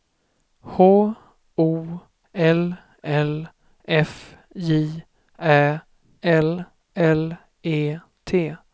H Å L L F J Ä L L E T